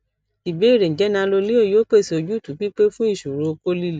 ìbéèrè njẹ nanoleo yoo pese ojutu pipe fun iṣoro okó lile